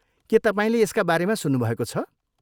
के तपाईँले यसका बारेमा सुन्नुभएको छ?